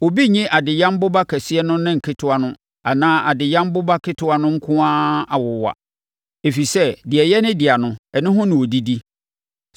Obi nnye adeyam boba kɛseɛ no ne ne ketewa no anaa adeyam boba ketewa no nko ara awowa, ɛfiri sɛ, deɛ ɛyɛ ne dea no, ɛno ho na ɔdidi.